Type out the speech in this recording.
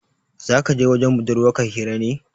Za kaje wajen budurwar ka hira ne